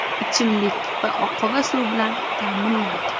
ichimlik va oqova suv bilan ta’minlangan.